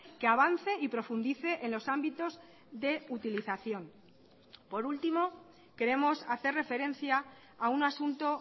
que avance y profundice en los ámbitos de utilización por último queremos hacer referencia a un asunto